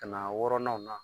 Ka na a wɔɔrɔnanw na.